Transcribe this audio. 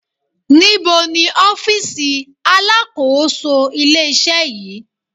Níbo ni ọ́fìsì alákòóso ilé-iṣẹ́ yìí